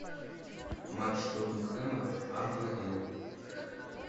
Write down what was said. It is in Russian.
матч тоттенхэма апл